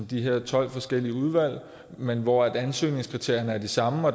de her tolv forskellige udvalg men hvor ansøgningskriterierne er de samme